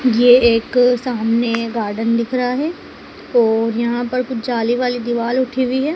ये एक सामने गार्डन दिख रहा है और यहां पर कुछ जाली वाली दीवाल उठी हुई है।